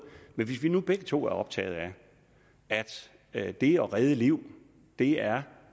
men hvis vi nu begge to er optaget af at det at redde liv er